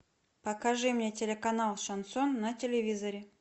покажи мне телеканал шансон на телевизоре